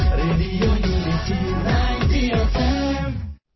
radio unity ninety एफ्एम्2